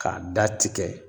Ka datigɛ.